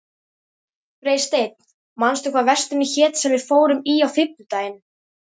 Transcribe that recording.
Freysteinn, manstu hvað verslunin hét sem við fórum í á fimmtudaginn?